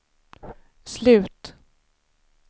slut